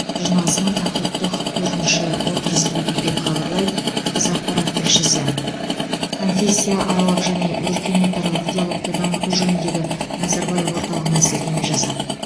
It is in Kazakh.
жиналысының тақырыптық төртінші отырысы өтті деп хабарлайды қазақпарат тілшісі конфессияаралық және өркениетаралық диалогты дамыту жөніндегі назарбаев орталығына сілтеме жасап